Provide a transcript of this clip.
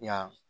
Yan